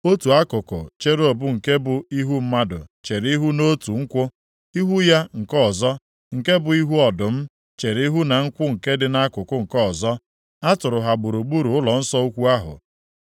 otu akụkụ cherub nke bụ ihu mmadụ chere ihu nʼotu nkwụ. Ihu ya nke ọzọ, nke bụ ihu ọdụm, chere ihu na nkwụ nke dị akụkụ nke ọzọ. A tụrụ ha gburugburu ụlọnsọ ukwu ahụ.